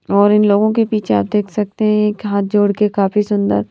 और इन लोगों के पीछे आप देख सकते हैं हाथ जोड़ के काफी सुंदर।